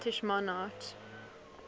scottish monarchs